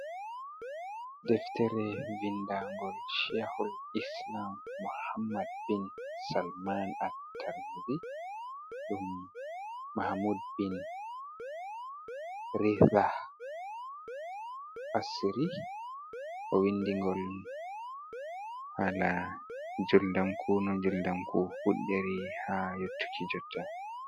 Deftere vindangol shehul islam muhammad bin salman atarri, ɗum mahammud bin rithah assiri, o windingol hala juldamku no juldamku fuddiri ha yottuki jotta.